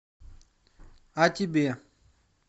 а тебе